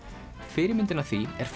fyrirmyndin að því er